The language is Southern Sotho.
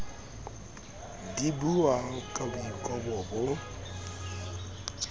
di buwang ka boikobo bo